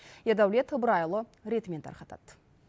ердәулет ыбырайұлы ретімен тарқатады